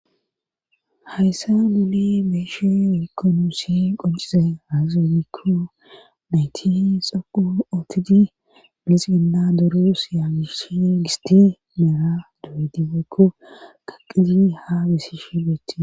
hayssa muli mishe woykko nuussi qoncize hazeonikko nayti xoqu ootidi milis ginda duru siya gishe gisti meera du7edibeekko qaqizi ha besishe beeti